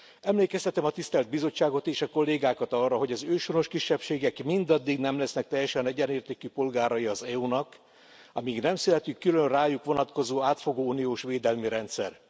Emlékeztetem a tisztelt Bizottságot és a kollégákat arra, hogy az őshonos kisebbségek mindaddig nem lesznek teljesen egyenértékű polgárai az EU nak, amíg nem születik külön rájuk vonatkozó átfogó uniós védelmi rendszer.